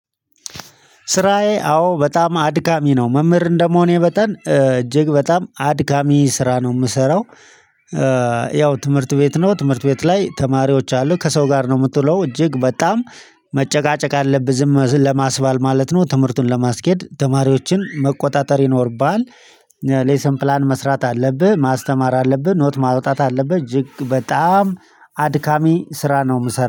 ስራዬ አዎ በጣም አድካሚ ነው መምህር እንደመሆኔ መጠን እጅግ በጣም አድካሚ ስራ ነው የምሰራው። ያው ትምህርት ቤት ነው ትምህርት ቤት ላይ ተማሪዎች አሉ ከሰው ጋር ነው የምትለው እጅግ በጣም መጨቃጨቅ አለብህ ዝም ለማስባል ማለት ነው ትምህርቱን ለማስኬድ ተማሪዎችን መቆጣጠር ይኖርብሃል። ሌሰን ፕላን መስራት አለብህ ማስተማር አለብህ ኖት ማውጣት አለብህ እጅግ በጣም አድካሚ ስራ ነው የምሰራው